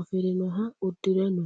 afirinoha udire no.